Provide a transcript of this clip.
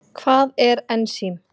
Hvað er ensím?